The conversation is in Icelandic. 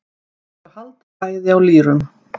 Þau halda bæði á lýrum.